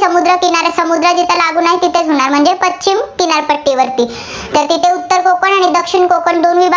समुद्र किनाऱ्या समुद्र जिथे लागून आहे, तिथेच होणार. म्हणजे पश्चिम किनारपट्टीवर, तर तिथे उत्तर कोकण आणि दक्षिण कोकण दोन विभाग आहेत.